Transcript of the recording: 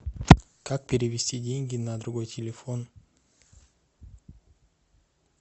как перевести деньги на другой телефон